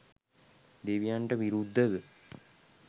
දෙවියන්ට විරුද්ධව